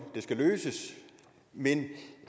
det skal løses men